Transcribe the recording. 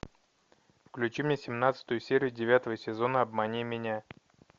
включи мне семнадцатую серию девятого сезона обмани меня